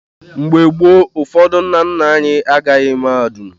Mgbe gboo, ụfọdụ ndị nna nna anyị agaghị mahadum.